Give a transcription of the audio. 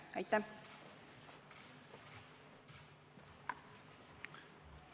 Aitäh!